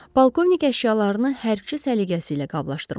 Pavkovnik əşyalarını hərbiçi səliqəsi ilə qablaşdırmışdı.